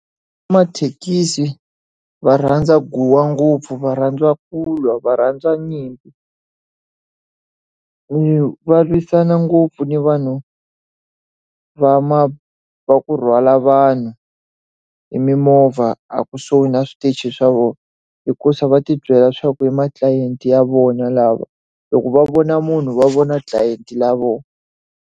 Va mathekisi va rhandza guwa ngopfu, va rhandziwa ku lwa, va rhandziwa nyimpi. Va lwisana ngopfu ni vanhu va va ku rhwala vanhu hi mimovha a kusuhi na switichi swa vona, hikuva va ti byela leswaku i ma-client-i ya vona lava. Loko va vona munhu va vona client-i ya vona.